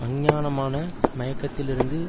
அஞ்ஞானமான மயக்கத்திலிருந்து